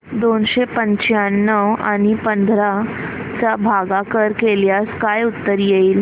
दोनशे पंच्याण्णव आणि पंधरा चा भागाकार केल्यास काय उत्तर येईल